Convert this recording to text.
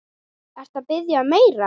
Ertu að biðja um meira.